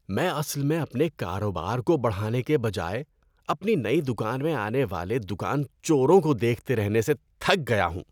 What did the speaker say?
میں اصل میں اپنے کاروبار کو بڑھانے کے بجائے اپنی نئی دکان میں آنے والے دکان چوروں کو دیکھتے رہنے سے تھک گیا ہوں۔